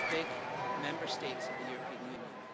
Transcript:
One of our big Member States of the European Union.